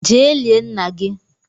je lie nna gi!